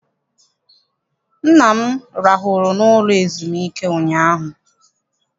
Nna m rahụrụ n'ụlọ ezumike ụnyaahụ.